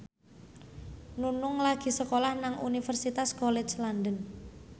Nunung lagi sekolah nang Universitas College London